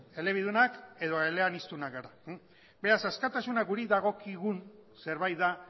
elebidunak edo eleaniztunak gara beraz askatasuna guri dagokigun zerbait da